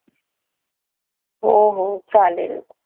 हो हो चालेल.